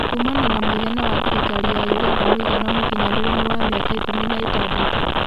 Kumana na mũigana wa thirikari ya ũganda mũigana mũkinyanĩru nĩ wa mĩaka ikũmi na ĩtandatũ